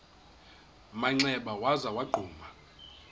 manxeba waza wagquma